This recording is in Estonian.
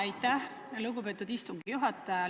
Aitäh, lugupeetud istungi juhataja!